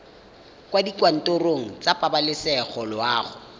kwa dikantorong tsa pabalesego loago